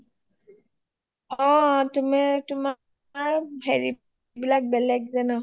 তুমি তোমাৰ হেৰি বিলাক যে বেলেগ যে ন